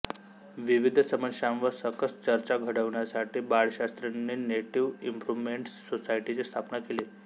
विविध समस्यांवर सकस चर्चा घडवण्यासाठी बाळशास्त्रींनी नेटिव्ह इंप्रुव्हमेंट सोसायटीची स्थापना केली